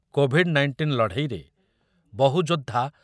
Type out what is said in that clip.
Covid nineteen ଲଢ଼େଇରେ ବହୁ ଯୋଦ୍ଧା